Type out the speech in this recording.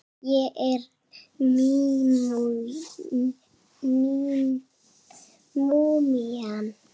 Ég er múmían.